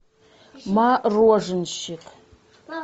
мороженщик